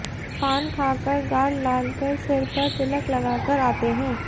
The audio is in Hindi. पान खा कर गाल लाल कर सिर पर तिलक लगा कर आते हैं